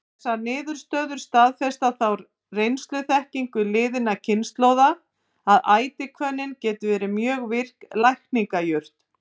Þessar niðurstöður staðfesta þá reynsluþekkingu liðinna kynslóða, að ætihvönnin getur verið mjög virk lækningajurt.